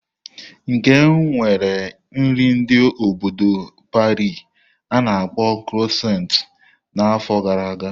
Nkem nwere nri ndi obo Pari a-na akpo kroisont na n'afọ gara aga.